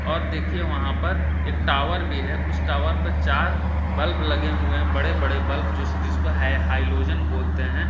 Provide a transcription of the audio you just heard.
और देखिए वहां पर एक टावर भी है उस टावर पर चार बल्ब लगे हुए हैं बड़े-बड़े बल्ब जो जिसको हैलोजन बोलते हैं ।